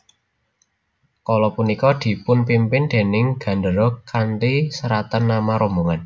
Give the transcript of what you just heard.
Kala punika dipunpimpin déning gendéra kanthi seratan nama rombongan